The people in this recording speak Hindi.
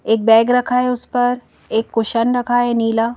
एक बैग रखा है उस पर एक कुशन रखा है नीला--